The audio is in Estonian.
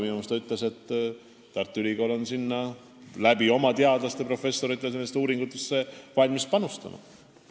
Minu meelest ta ütles, et Tartu Ülikool on valmis nendesse uuringutesse oma teadlaste, professoritega panustama.